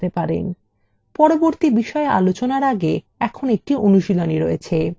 পরবর্তী বিষয় আলোচনার আগে এখন একটি অনুশীলনী রয়েছে